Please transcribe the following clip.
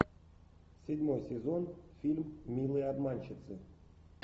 седьмой сезон фильм милые обманщицы